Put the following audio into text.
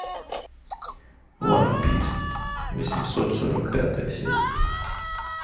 ван пис восемьсот сорок пятая серия